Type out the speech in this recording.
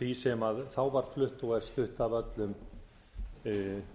því sem þá var flutt og er flutt af öllum þeim